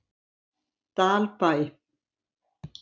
Dalbæ